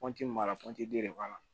b'a la den de b'a la